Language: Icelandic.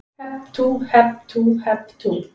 Hep tú, hep tú, hep tú.